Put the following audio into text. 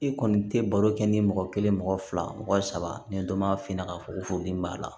I kɔni tɛ baro kɛ ni mɔgɔ kelen mɔgɔ fila mɔgɔ saba ni dɔ ma finna k'a fɔ ko furudimi b'a la